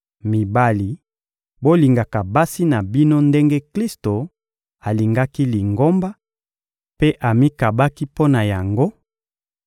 Mibali, bolingaka basi na bino ndenge Klisto alingaki Lingomba mpe amikabaki mpo na yango